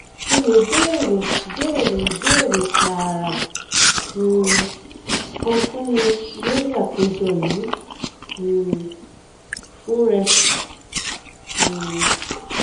o le beere beere ibeere taara um kan fun mi lori apejọ yii um fun rẹ um